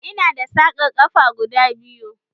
Ina da sarƙan ƙafa guda biyu